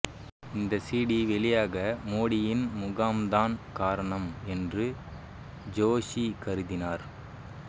இந்த சிடி வெளியாக மோடியின் முகாம்தான் காரணம் என்று ஜோஷி கருதினார்